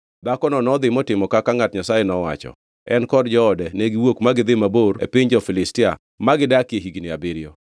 Dhakono nodhi motimo kaka ngʼat Nyasaye nowacho, en kod joode ne giwuok ma gidhi mabor e piny jo-Filistia ma gidakie higni abiriyo.